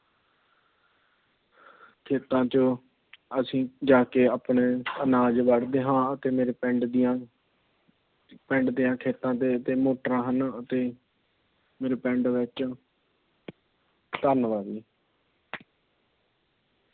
ਖੇਤਾਂ ਚ ਅਸੀਂ ਜਾ ਕੇ ਆਪਣੇ ਅਨਾਜ ਵੱਢਦੇ ਹਾਂ। ਅਤੇ ਮੇਰੇ ਪਿੰਡ ਦੀਆ ਪਿੰਡ ਦੀਆ ਖੇਤਾਂ ਦੀਆ ਤਿੰਨ ਤਰ੍ਹਾਂ ਹਨ। ਅਤੇ ਮੇਰੇ ਪਿੰਡ ਵਿੱਚ ਧੰਨਵਾਦ ਜੀ।